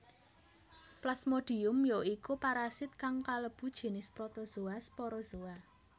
Plasmodium ya iku parasit kang kalebu jinis protozoa sporozoa